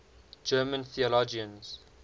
german theologians